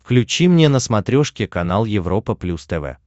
включи мне на смотрешке канал европа плюс тв